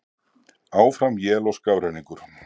Áfram él og skafrenningur